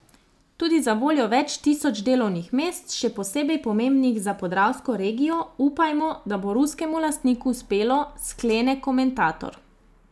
Tudi zavoljo več tisoč delovnih mest, še posebej pomembnih za podravsko regijo, upajmo, da bo ruskemu lastniku uspelo, sklene komentator.